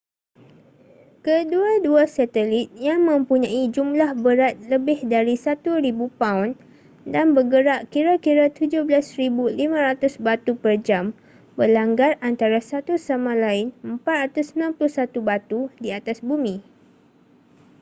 kedua-dua satelit yang mempunyai jumlah berat lebih dari 1,000 paun dan bergerak kira-kira 17,500 batu per jam berlanggar antara satu sama lain 491 batu di atas bumi